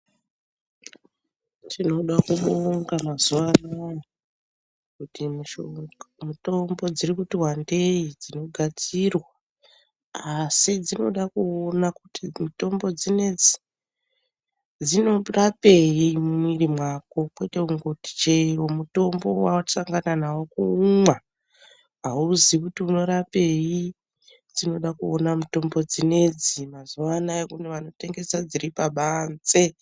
Tinoda kubonga kuti mazuvano kuti mitombo dzirikuti wandei dzinogadzirwa asi dzinoda kuona kuti mitombo dzinodzi dzinorapei mumwiri mako kwete kungoti chero mutombo wawasangana nawo womwa hauzivi kuti unorapei, dzinoda kuona mitombo dzinoidzi, mazuvanaya pane vanotengesa dziripabanze.